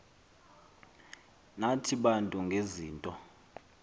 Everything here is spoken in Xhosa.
nathi bantu ngezinto